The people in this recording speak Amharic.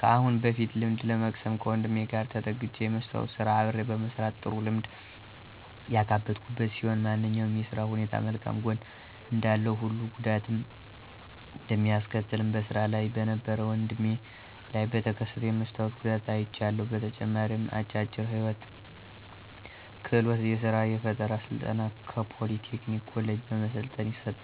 ከአሁን በፊት ልምድ ለመቅሰም ከወንድሜ ጋር ተጠግቸ የመስታዎት ስራ አብሬ በመስራት ጥሩ ልምድ ያካበትኩበት ሲሆን ማንኛውም የስራ ሁኔታም መልካም ጎን እንዳለው ሁሉ ጉዳትም እንደሚያስከትልም በስራ ላይ በነበረው ወድሜ ላይ በተከሰተው የመስታወት ጉዳት አይቻለሁ። በተጨማሪም አጫጭር የህይወት ክህሎት እና የስራ ፈጠራ ስልጠና ከፖሊ ቴክኒክ ኮሌጅ በመሰልጠን ይሰጣል።